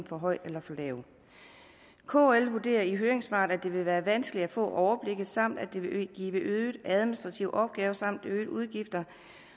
for højt eller for lavt kl vurderer i høringssvaret at det vil være vanskeligt at få overblik samt at det vil give øgede administrative opgaver samt øgede udgifter